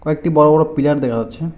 একটি বড় বড় পিলার দেখা যাচ্ছে।